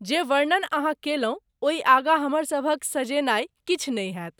जे वर्णन अहाँ कयलहुँ ओहि आगाँ हमरसभक सजेनाय किछु नहि हैत।